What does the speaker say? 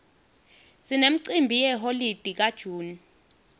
sinemcimbi yeholide ka june